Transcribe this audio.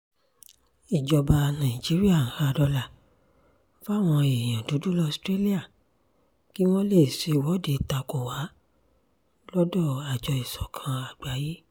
ìjọba nàìjíríà ń ha dọ́là fáwọn èèyàn dúdú laustralà kí wọ́n lè ṣèwọ́de takò wá lọ́dọ̀ àjọ ìsọ̀kan àgbáyé